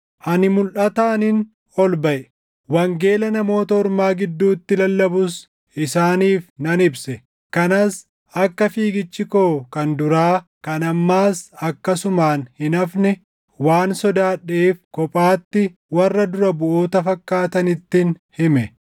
Ani mulʼataanin ol baʼe; wangeela Namoota Ormaa gidduutti lallabus isaaniif nan ibse. Kanas akka fiigichi koo kan duraa, kan ammaas akkasumaan hin hafne waan sodaadheef kophaatti warra dura buʼoota fakkaatanittin hime.